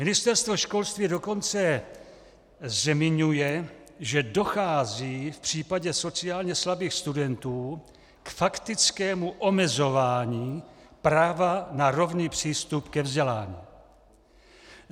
Ministerstvo školství dokonce zmiňuje, že dochází v případě sociálně slabých studentů k faktickému omezování práva na rovný přístup ke vzdělání.